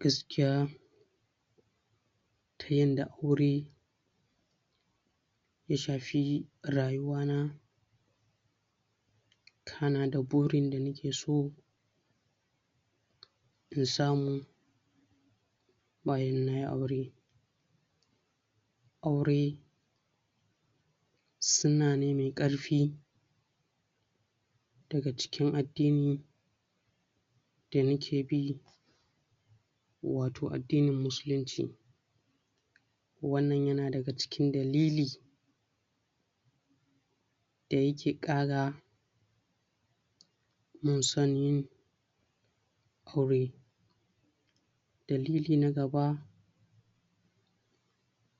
gaskiya ta yadda aure ya shafi rayuwa na kana da burin da nake so in samu bayan nayi aure aure sunna ne mai karfi daga cikin addini da nake bi wato addinin musulunci wannan yana daga cikin dalilin da yake kara mun san yin aure dalili na gaba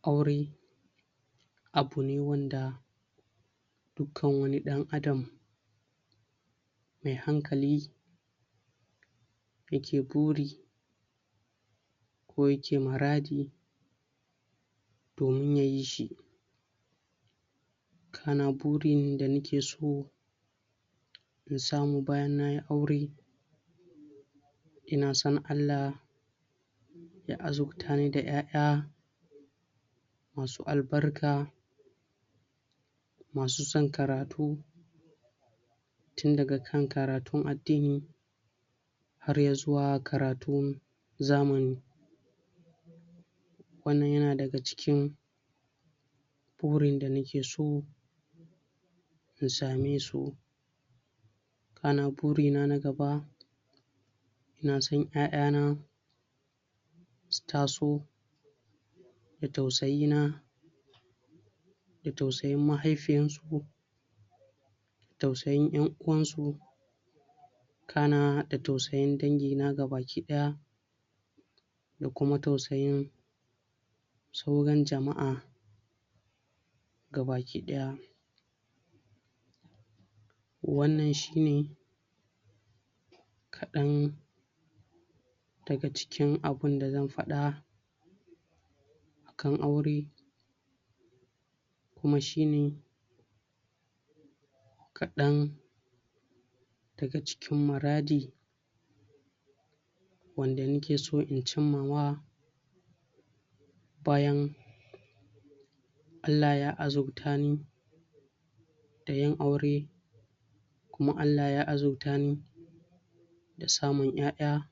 aure abu ne wanda dukkan wani dan'adam mai hankali yake buri ko yake muradi domin ya yi shi burin da nake so in samu bayan nayi aure ina son Allah ya azurtani da 'ya-'ya masu albarka masu san karatu tun daga kan karatun addini har ya zuwa karatun zamani wannan yana daga cikin burin da nake so in samai su sannan burina na gaba ina son 'ya-'ya na su taso da tausayi na da tausayin mahaifiyarsu da tausayin 'yan'uwansu sannan da tausayin dangina gaba daya da kuma tausayin sauran jama'a baki daya wannan shi ne kadan daga cikin abun da zan fada akan aure kuma shi ne kadan daga cikin muradi wanda nake so in cimma wa bayan Allah ya azurta ni da yin aure kuma Allah ya azurtani da samun 'ya-'ya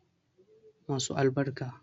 masu albarka